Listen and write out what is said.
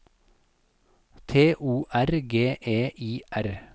T O R G E I R